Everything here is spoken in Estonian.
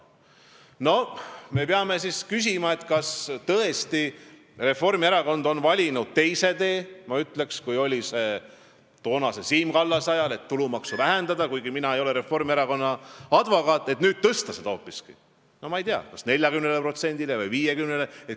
Kuigi mina ei ole Reformierakonna advokaat, peame küsima, kas tõesti on Reformierakond valinud teise tee võrreldes toonase Siim Kallase ajaga, et vähendamise asemel tahetakse tulumaksu nüüd hoopiski tõsta kas 40%-le või 50%-le.